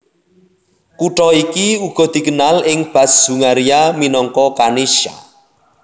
Kutha iki uga dikenal ing bas Hungaria minangka Kanizsa